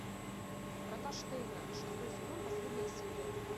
врата штейна шестой сезон последняя серия